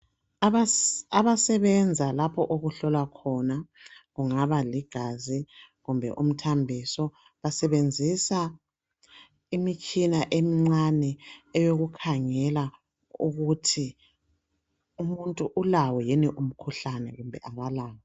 abasebenza lapho okuhlolwa khona kungaba ligazi kumbe umthambiso basenzisa imitshina emincane eyokukhangela ukuthi umuntu ulawo yini umkhuhlane kumbe akalawo